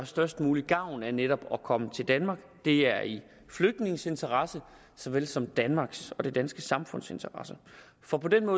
størst mulig gavn af netop at komme til danmark det er i flygtningenes interesse såvel som i danmarks og det danske samfunds interesse for på den